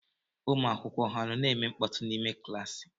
Ụmụ akwụkwọ ha nọ na-eme mkpọtụ n'ime klaasị?